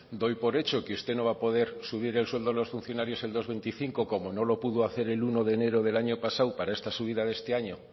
doy por hecho que usted no va a poder subir el sueldo a los funcionarios el dos coma veinticinco como no lo pudo hacer el uno de enero del año pasado para esta subida de este año